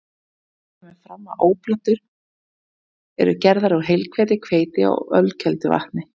Í henni kemur fram að oblátur eru gerðar úr heilhveiti, hveiti og ölkelduvatni.